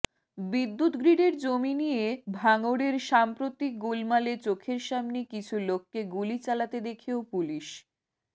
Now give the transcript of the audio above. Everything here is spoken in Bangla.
বিদ্যুৎ গ্রিডের জমি নিয়ে ভাঙড়ের সাম্প্রতিক গোলমালে চোখের সামনে কিছু লোককে গুলি চালাতে দেখেও পুলিশ